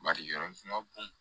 Bari yɔrɔ sunka b'u